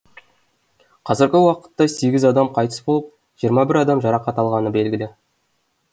қазіргі уақытта сегіз адам қайтыс болып жиырма бір адам жарақат алғаны белгілі